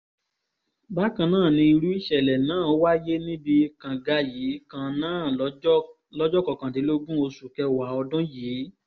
bákan náà ni irú ìṣẹ̀lẹ̀ náà wáyé níbi kànga yìí kan náà lọ́jọ́ kọkàndínlógún oṣù kẹwàá ọdún yìí